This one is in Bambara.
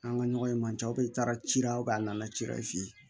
An ka ɲɔgɔn ye man ca aw bɛɛ taara ci la a nana ci la f'i